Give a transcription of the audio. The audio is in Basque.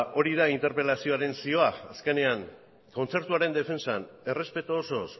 hori da interpelazioaren zioa azkenean kontzertuaren defentsan errespetu osoz